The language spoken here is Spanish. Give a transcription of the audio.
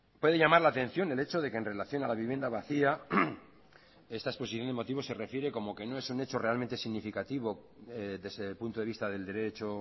puede llamar la atención el hecho de que en relación a la vivienda vacía esta exposición de motivos se refiere como que no es un hecho realmente significativo desde el punto de vista del derecho